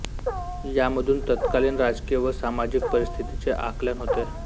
यामधून तत्कालीन राजकीय व सामाजिक परिस्थितीचे आकलन होते